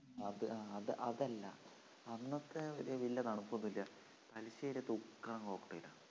ആ അത് അതല്ല അന്നത്തെ വല്യ തണുപ്പൊന്നൂല്ല തലശ്ശേരിലേത് ഉഗ്രൻ cocktail ആണ്